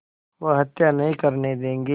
वह हत्या नहीं करने देंगे